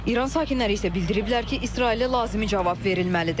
İran sakinləri isə bildiriblər ki, İsrailə lazımi cavab verilməlidir.